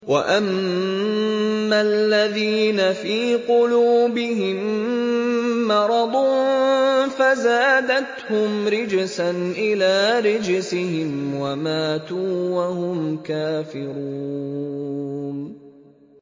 وَأَمَّا الَّذِينَ فِي قُلُوبِهِم مَّرَضٌ فَزَادَتْهُمْ رِجْسًا إِلَىٰ رِجْسِهِمْ وَمَاتُوا وَهُمْ كَافِرُونَ